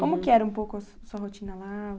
Como que era um pouco a sua rotina lá?